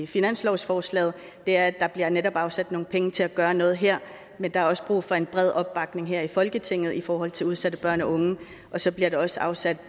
finanslovsforslaget er at der netop bliver afsat nogle penge til at gøre noget her men der er også brug for en bred opbakning her i folketinget i forhold til udsatte børn og unge og så bliver der også afsat